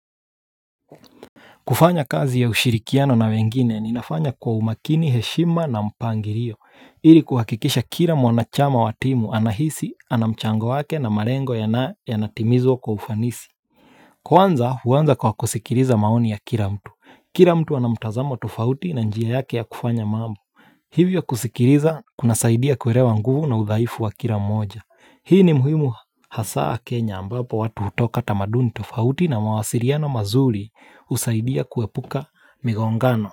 Kufanya kazi ya ushirikiano na wengine inafanya kwa umakini heshima na mpangilio hili kuhakikisha kila mwanachama wa timu anahisi, ana mchango wake na malengo yanatimizwa kwa ufanisi Kwanza, uanza kwa kusikiliza maoni ya kila mtu Kila mtu ana mtazamo tofauti na njia yake ya kufanya mambo Hivyo kusikiliza kunasaidia kuelewa nguvu na udhaifu wa kila mmoja Hii ni muhimu hasaa kenya ambapo watu hutoka tamaduni tofauti na mwasiliano mazuri husaidia kuepuka migongano.